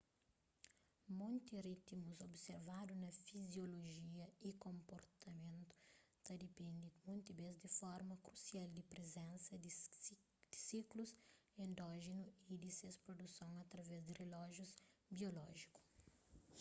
monti ritimus observadu na fiziolojia y konprtamentu ta dipende monti bês di forma krusial di prizensa di siklus endójenu y di ses produson através di relójius biolójiku